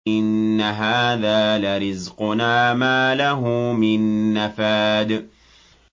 إِنَّ هَٰذَا لَرِزْقُنَا مَا لَهُ مِن نَّفَادٍ